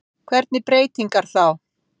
Gunnar Reynir Valþórsson: Hvernig breytingar þá?